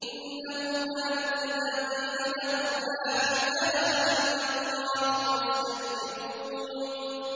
إِنَّهُمْ كَانُوا إِذَا قِيلَ لَهُمْ لَا إِلَٰهَ إِلَّا اللَّهُ يَسْتَكْبِرُونَ